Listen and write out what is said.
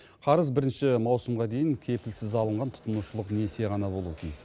қарыз бірінші маусымға дейін кепілсіз алынған тұтынушылық несие ғана болуы тиіс